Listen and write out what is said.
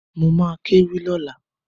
Mo ma kéwì lọ́la